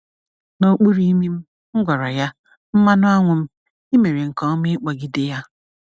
N’okpuru imi m, m gwara ya, "mmanuanwum, i mere nke ọma ịkpọgide ya!"